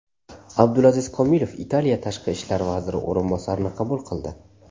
Abdulaziz Komilov Italiya tashqi ishlar vaziri o‘rinbosarini qabul qildi.